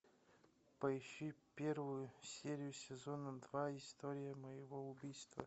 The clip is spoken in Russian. поищи первую серию сезона два история моего убийства